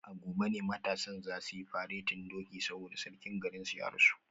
A gobe ne matasan za su yi faretin doki saboda sarkin garinsu da ya rasu